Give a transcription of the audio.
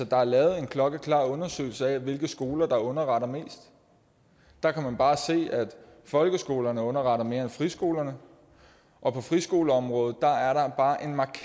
der er lavet en klokkeklar undersøgelse af hvilke skoler der underretter mest der kan man bare se at folkeskolerne underretter mere end friskolerne og på friskoleområdet